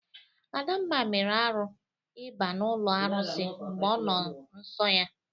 Adamma mere arụ iba n'ọlụ arụsị mgbe ọ nọ nsọ ya.